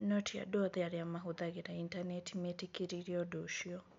No ti andũ othe arĩa maahũthagĩra Intaneti meetĩkĩrire ũndũ ũcio.